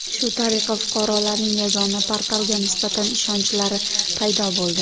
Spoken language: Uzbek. Shu tariqa fuqarolarning Yagona portalga nisbatan ishonchlari paydo bo‘ldi.